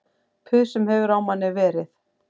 Puð sem hefur á manni verið